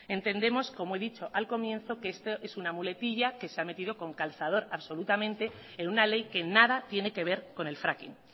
entendemos como he dicho al comienzo que esto es una muletilla que se ha metido con calzador absolutamente en una ley que nada tiene que ver con el fracking